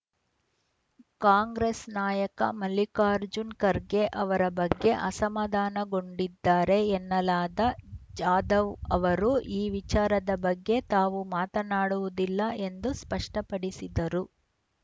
ಕಾಂಗ್ರೆಸ್‌ ನಾಯಕ ಮಲ್ಲಿಕಾರ್ಜುನ ಖರ್ಗೆ ಅವರ ಬಗ್ಗೆ ಅಸಮಾಧಾನಗೊಂಡಿದ್ದಾರೆ ಎನ್ನಲಾದ ಜಾಧವ್‌ ಅವರು ಈ ವಿಚಾರದ ಬಗ್ಗೆ ತಾವು ಮಾತನಾಡುವುದಿಲ್ಲ ಎಂದು ಸ್ಪಷ್ಟಪಡಿಸಿದರು